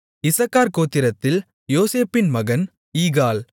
இசக்கார் கோத்திரத்தில் யோசேப்பின் மகன் ஈகால்